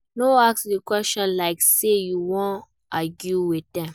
No ask di question like say you won argue with dem